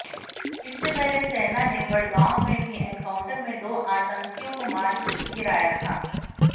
इससे पहले सेना ने बड़गांव में भी एनकाउंटर में दो आतंकियों को मार गिराया था